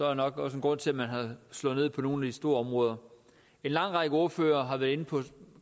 er nok også en grund til at man har slået ned på nogle store områder en lang række ordførere har været inde på